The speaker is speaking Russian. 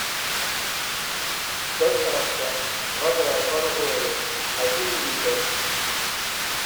доставка вода боржоми один литр